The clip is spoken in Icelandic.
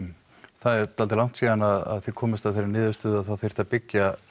það er dálítið langt síðan að þið komust að þeirri niðurstöðu að það þyrfti að byggja